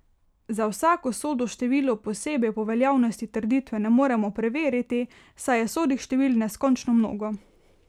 Za vsako sodo število posebej pa veljavnosti trditve ne moremo preveriti, saj je sodih števil neskončno mnogo.